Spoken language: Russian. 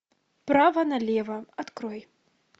право на лево открой